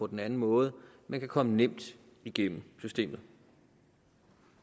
den anden måde men kan komme nemt igennem systemet